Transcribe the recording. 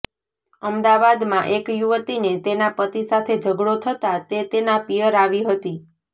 અમદાવાદમાં એક યુવતીને તેના પતિ સાથે ઝઘડો થતાં તે તેના પિયર આવી હતી